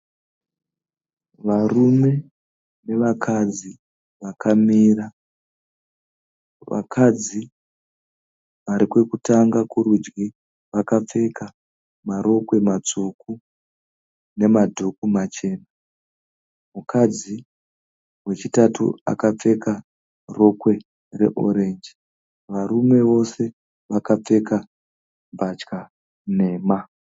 Varume nevakadzi vakamira. Vakadzi varikwekutanga kurudyi vakapfeka marokwe matsvuku namadhuku machena. Mukadzi wechitatu akapfeka rokwe re(orange). Varume vose vakapfeka mbatya nhema.